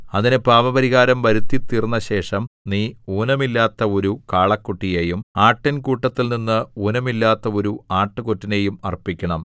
അതിന് പാപപരിഹാരം വരുത്തിത്തീർന്നശേഷം നീ ഊനമില്ലാത്ത ഒരു കാളക്കുട്ടിയെയും ആട്ടിൻകൂട്ടത്തിൽനിന്ന് ഊനമില്ലാത്ത ഒരു ആട്ടുകൊറ്റനെയും അർപ്പിക്കണം